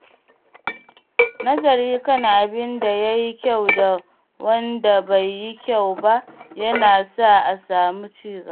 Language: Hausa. Nazari kan abin da ya yi kyau da wanda bai yi kyau ba yana sa a samu ci gaba.